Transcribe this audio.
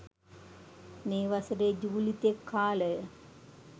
මේ වසරේ ජූලි තෙක් කාලය